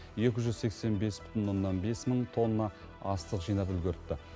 екі жүз сексен бес бүтін оннан бес мың тонна астық жинап үлгеріпті